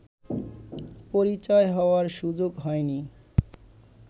পরিচয় হওয়ার সুযোগ হয়নি